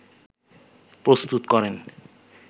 প্রস্তুত করেন